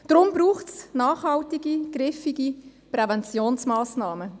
Deshalb braucht es nachhaltige, griffige Präventionsmassnahmen.